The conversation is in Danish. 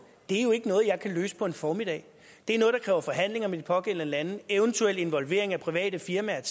det jo ikke er noget jeg kan løse på en formiddag det er noget der kræver forhandlinger med de pågældende lande eventuelt involvering af private firmaer